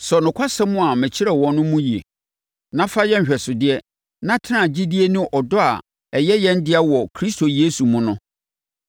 Sɔ nokwasɛm a mekyerɛɛ wo no mu yie, na fa yɛ nhwɛsodeɛ, na tena gyidie ne ɔdɔ a ɛyɛ yɛn dea wɔ Kristo Yesu mu no.